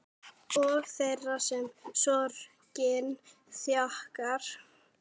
Og þeirra sem sorgin þjakar.